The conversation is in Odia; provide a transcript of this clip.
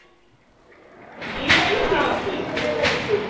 ଯିଏ ପାଇଲା ସିଏ ରଖେ ସେଇ fruit